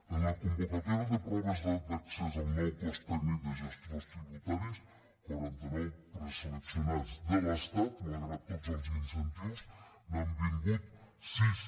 en la convocatòria de proves d’accés al nou cos tècnic de gestors tributaris quaranta nou preseleccionats de l’estat malgrat tots els incentius n’han vingut sis